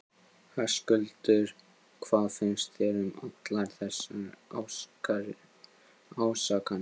Höskuldur: Og hvað finnst þér um allar þessar ásakanir?